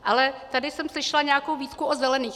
Ale tady jsem slyšela nějakou výtku o zelených.